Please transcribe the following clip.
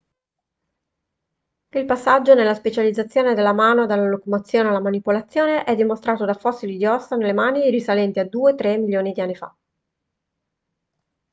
il passaggio nella specializzazione della mano dalla locomozione alla manipolazione è dimostrato da fossili di ossa delle mani risalenti a due/tre milioni di anni fa